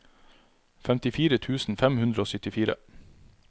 femtifire tusen fem hundre og syttifire